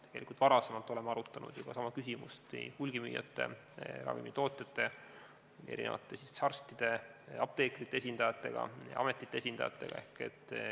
Tegelikult oleme juba varem arutanud sama küsimust hulgimüüjate, ravimitootjate ning arstide ja apteekrite esindajatega, samuti ametite esindajatega.